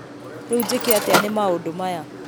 Rĩu njĩke atĩa nĩ maũndũmaya?